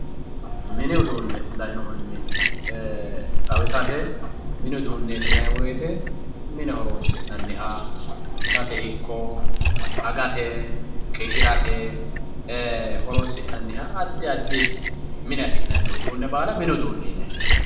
mini uduunne lainohunni xawisate ee mini uduunneeti yinanni wote mine horonsi'naniha itate ikko agate qishirate horonsi'nanniha addi addi mine afi'nanni uduunne baala mini uduunne yinanni.